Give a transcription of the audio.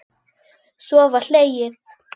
Svo var hlegið.